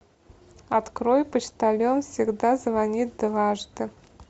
открой почтальон всегда звонит дважды